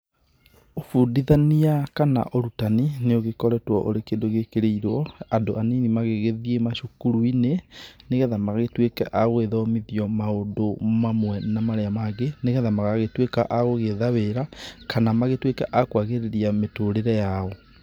Ũbundithania kana ũrutani, nĩ ũgĩkoretwo ũrĩ kĩndũ gĩkĩrĩirwo andũ anini magĩgĩthiĩ macukuru-inĩ, nĩgetha magagĩtuĩke a gũgĩthomithio maũndũ mamwe na marĩa mangĩ, nĩgetha magagĩtuĩka a gũgĩetha wĩra kana magĩtuĩke a kwagĩrithia mĩtũrĩre yao.